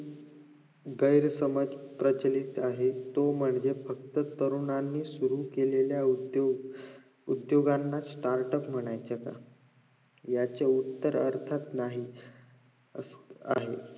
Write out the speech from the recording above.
गैरसमज प्रचलित आहे तो म्हणजे फक्त तुराणांनी सुरु केलेल्या उद्योग उद्दोगांना startup म्हणायचे काय याचे उत्तर अर्थात नाही असो आहे